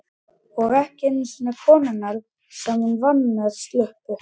Og ekki einu sinni konurnar sem hún vann með sluppu.